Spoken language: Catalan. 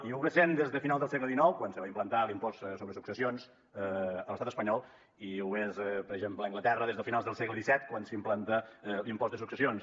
ja ho és des de finals del segle xix quan se va implantar l’impost sobre successions a l’estat espanyol i ho és per exemple a anglaterra des de finals del segle xvii quan s’implanta l’impost de successions